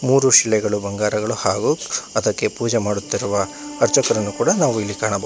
ಮೂರು ಶಿಲೆಗಳು ಬಂಗಾರಗಳು ಹಾಗು ಅದಕ್ಕೆ ಪೂಜೆ ಮಾಡುತ್ತಿರುವ ಅರ್ಚಕರನ್ನು ಕೂಡ ನಾವು ಇಲ್ಲಿ ಕಾಣಬ--